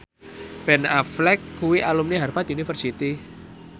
Ben Affleck kuwi alumni Harvard university